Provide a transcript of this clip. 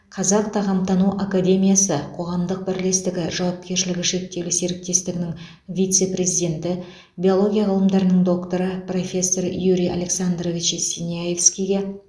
қазақ тағамтану академиясы қоғамдық бірлестігі жауапкершілігі шектеулі серіктестігінің вице президенті биология ғылымдарының докторы профессор юрий александрович синявскийге